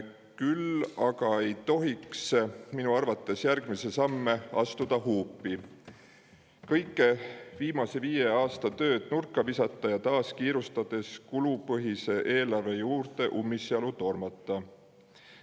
Minu arvates aga ei tohiks järgmisi samme astuda huupi, kõike viimase viie aasta tööd nurka visata ning taas kiirustades ja ummisjalu kulupõhise eelarve juurde tormata.